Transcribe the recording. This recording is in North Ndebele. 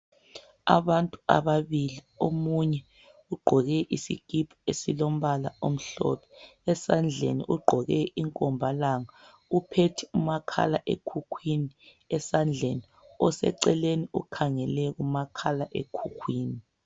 Abantu ababili omunye ugqoke isikipa esilombala emhlophe esandleni esandleni ugqoke imkomba langa uphethe umakhala ekhukhwini oseceleni ukhangele umakhala ekhukhwini